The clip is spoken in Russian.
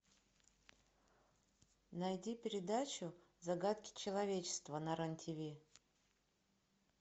найди передачу загадки человечества на рен тв